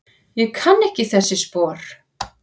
Ég kann ekki þessi spor.